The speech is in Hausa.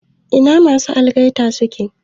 Ina masu algaitan suke?